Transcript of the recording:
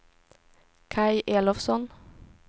Kaj Elofsson